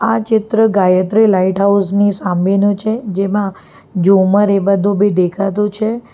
આ ચિત્ર Gayatri lighthouse ની સામેનો છે જેમાં જુમર એ બધું બી દેખાતુ છે.